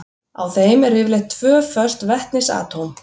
Á þeim eru yfirleitt tvö föst vetnisatóm.